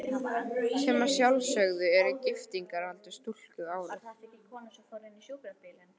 Sem að sjálfsögðu er giftingaraldur stúlku árið